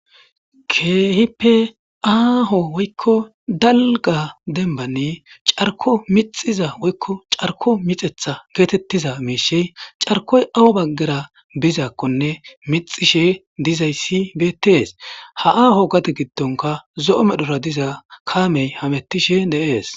Keehippe aaho woykko dalgga dembbani carkko mixxiza woykko carkko mixeththa geetheththiza miishshii carkkoy awe baggera bizaakkonne mixxishee dizayssi beetthees; ha aaho gade giddonkka zo7o medhora diza kaamee hameththishee de7ees.